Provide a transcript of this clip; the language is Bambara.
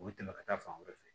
U bɛ tɛmɛ ka taa fan wɛrɛ fɛ